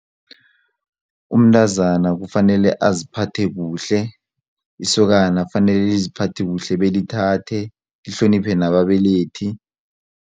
Umntazana kufanele aziphathe kuhle isokana kufanele liziphathe kuhle belithathe lihloniphe nababelethi.